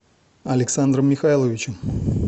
александром михайловичем